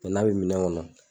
n'a bi minɛ ŋɔnɔ